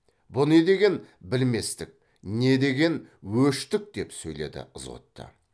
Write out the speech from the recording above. бұ не деген білместік не деген өштік деп сөйледі ызғұтты